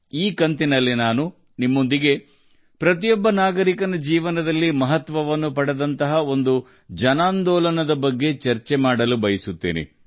ಈ ಸಂಚಿಕೆಯಲ್ಲಿ ದೇಶದ ಪ್ರತಿಯೊಬ್ಬ ಪ್ರಜೆಯ ಜೀವನದಲ್ಲಿ ಮಹತ್ತರವಾದ ಪ್ರಾಮುಖ್ಯತೆಯನ್ನು ಹೊಂದಿರುವ ದೇಶದ ಅಂತಹ ಒಂದು ಜನಾಂದೋಲನದ ಬಗ್ಗೆ ನಾನು ಇಂದು ನಿಮ್ಮೊಂದಿಗೆ ಚರ್ಚಿಸಲು ಬಯಸುತ್ತೇನೆ